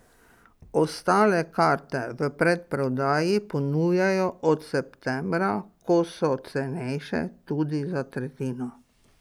Ostale karte v predprodaji ponujajo od septembra, ko so cenejše tudi za tretjino.